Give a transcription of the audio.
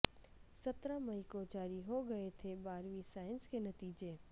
سترہ مئی کو جاری ہو گئے تھے بارہویں سائنس کے نتیجے